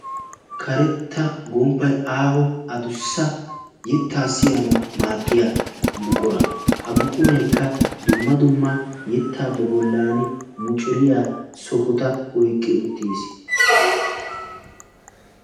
karetta gomppay aaho adussa yettaa siyanawu maaddiya buqura ha buquraykka dumma dumma yettaa ba bollan muciriya sohota oyqqi uttiis.